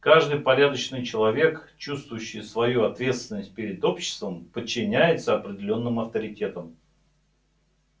каждый порядочный человек чувствующий свою ответственность перед обществом подчиняется определённым авторитетам